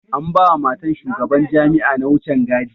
An ba ma matan shugaban jami'a na wucen gadi.